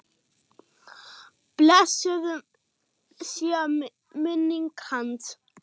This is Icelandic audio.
Blessuð sé minning hans!